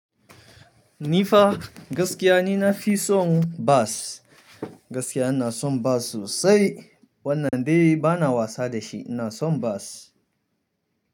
Ni fa, gaskiya ni nafi son bas, gaskiya ina son bas sosai. Wanna dai bana wasa da shi, ina son bas.